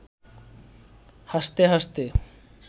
হাসতে হাসতে